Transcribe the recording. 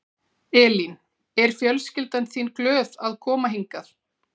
Elín: Er fjölskyldan þín glöð að koma hingað?